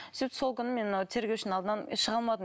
сөйтіп сол күні мен мынау тергеушінің алдынан шыға алмадым